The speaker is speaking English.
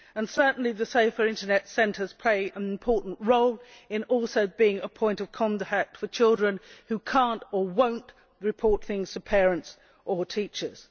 Certainly the Safer Internet Centres play an important role in also being a point of contact for children who cannot, or will not, report things to parents or teachers.